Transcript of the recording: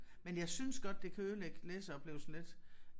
Men jeg synes godt det kan ødelægge læseoplevelsen lidt